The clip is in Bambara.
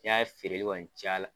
N' yaye feereli kɔni caya la.